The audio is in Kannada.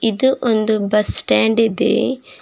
ಇದು ಒಂದು ಬಸ್ ಸ್ಟಾಂಡ್ ಇದೆ.